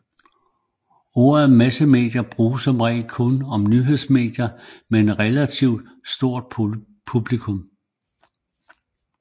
Ordet massemedie bruges som regel kun om nyhedsmedier med et relativ stort publikum